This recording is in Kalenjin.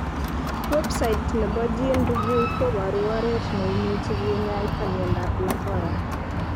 Website nepo GeneReview's koporu oret ne imuche kinyaita miondap Lafora.